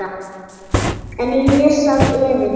En í mér sat efinn.